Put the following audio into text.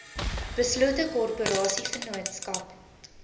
beslote korporasie vennootskap